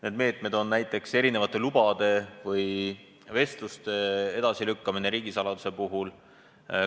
Nende meetmete hulka kuuluvad näiteks mitmesuguste lubade kehtivusaja pikenemine või riigisaladusega seotud vestluste edasilükkamine.